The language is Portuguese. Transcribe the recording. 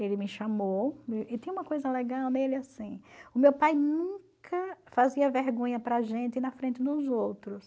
Ele me chamou e tinha uma coisa legal nele assim, o meu pai nunca fazia vergonha para a gente na frente dos outros.